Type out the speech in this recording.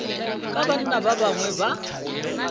ka banna ba bangwe ba